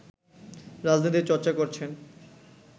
রাজনীতির চর্চা করছেন